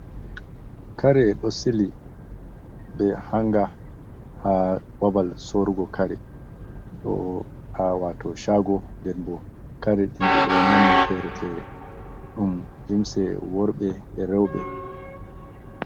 Kare ɗo sili, be hannga haa babal sorrugo kare, haa waato caago, nden bo, kare den ɗi ɗo nonne feere-feere, ɗum limse worɓe e rewɓe.